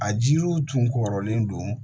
A jiriw tun kɔrɔlen don